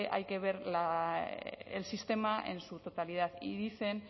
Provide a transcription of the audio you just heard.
hay que ver el sistema en su totalidad y dicen